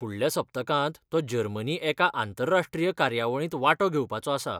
फुडल्या सप्तकांत तो जर्मनी एका आंतरराश्ट्रीय कार्यावळींत वांटो घेवपाचो आसा.